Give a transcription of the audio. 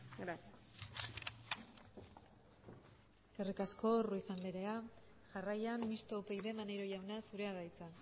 gracias eskerrik asko ruiz andrea jarraian mistoa upyd maneiro jauna zurea da hitza